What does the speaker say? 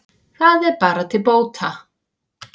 Það er bara til bóta